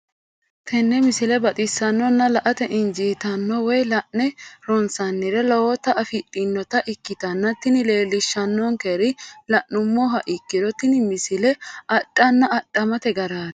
tenne misile baxisannonna la"ate injiitanno woy la'ne ronsannire lowote afidhinota ikkitanna tini leellishshannonkeri la'nummoha ikkiro tini misile adhanna adhamate garaati.